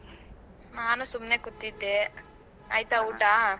ನಾನು ಸುಮ್ಮನೆ ಕೂತಿದ್ದೆ. ಆಯ್ತಾ ಊಟ?